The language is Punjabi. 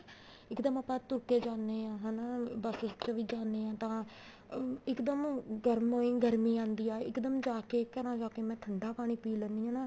ਇੱਕਦਮ ਆਪਾਂ ਤੁਰ ਕੇ ਜਾਨੇ ਹਾਂ ਹਨਾ buses ਚ ਵੀ ਜਾਨੇ ਹਾਂ ਤਾਂ ਇੱਕਦਮ ਗਰਮੋ ਈ ਗਰਮੀ ਆਉਂਦੀ ਆ ਇੱਕਦਮ ਜਾ ਕੇ ਘਰਾਂ ਜਾ ਕੇ ਮੈਂ ਠੰਡਾ ਪਾਣੀ ਪਈ ਲੈਂਨੀ ਆ ਨਾ